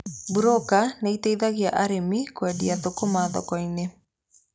Burũka nĩmateithagia arĩmi kũendia thũkũma thoko-inĩ.